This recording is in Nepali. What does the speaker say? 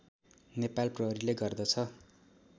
नेपाल प्रहरीले गर्दछ